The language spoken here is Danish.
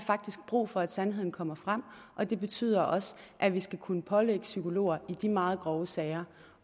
faktisk brug for at sandheden kommer frem og det betyder også at vi skal kunne pålægge psykologer i de meget grove sager